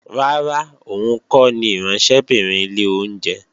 Rárá, òun kọ́ ni ìránṣẹ́bìnrin ilé oúnjẹ